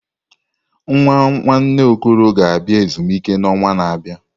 Nwa nwanne Okoro ga-abịa ezumike n'ọnwa na-abịa.